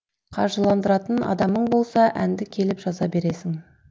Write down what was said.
қаржыландыратын адамың болса әнді келіп жаза бересің